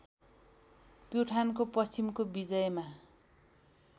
प्युठानको पश्चिमको विजयमा